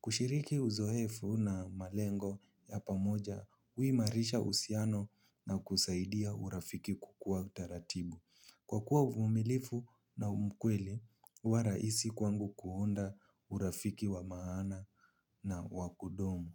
Kushiriki uzowefu na malengo ya pamoja, uimarisha usiano na kusaidia urafiki kukua utaratibu. Kwa kuwa uvumilifu na umkweli, uwaraisi kwangu kuhunda urafiki wa maana na wakudumu.